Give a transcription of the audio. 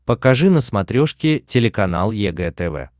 покажи на смотрешке телеканал егэ тв